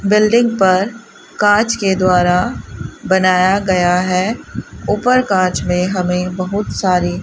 building पर कांच के द्वारा बनाया गया है ऊपर कांच में हमें बहुत सारी --